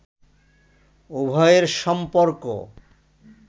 উভয়ের সম্পর্ক